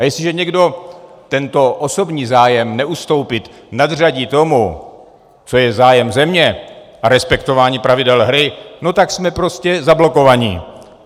A jestliže někdo tento osobní zájem neustoupit nadřadí tomu, co je zájem země, a respektování pravidel hry, no tak jsme prostě zablokovaní.